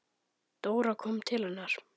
Dóra kom til hennar.